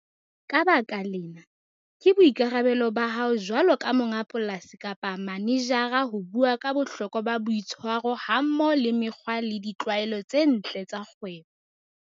Ka baka lena, ke boikarabelo ba hao jwalo ka monga polasi kapa manejara ho bua ka bohloka ba boitshwaro hammoho le mekgwa le ditlwaelo tse ntle tsa kgwebo.